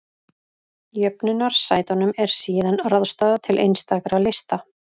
Jöfnunarsætunum er síðan ráðstafað til einstakra lista.